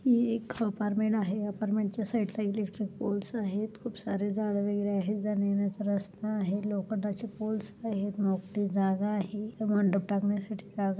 ही एक अपार्टमेंट आहे अपार्टमेंटच्या साइड ला इलेक्ट्रिक पोल्स आहेत खूप सारे झाड वैगेरे आहेत जाण्यायेण्याचा रस्ता आहे लोखंडाचे पोल्स आहे मोकळी जागा आहे मंडप टाकण्यासाठी जागा --